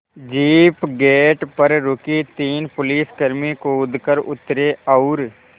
jeep gate पर रुकी तीन पुलिसकर्मी कूद कर उतरे और